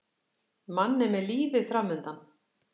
Manni með lífið framundan.